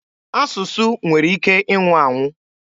Asụsụ nwere ike ịnwụ anwụ.